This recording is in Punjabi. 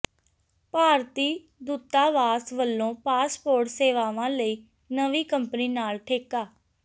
ਭਾਰਤੀ ਦੂਤਾਵਾਸ ਵੱਲੋਂ ਪਾਸਪੋਰਟ ਸੇਵਾਵਾਂ ਲਈ ਨਵੀਂ ਕੰਪਨੀ ਨਾਲ ਠੇਕਾ